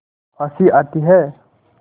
हँसी आती है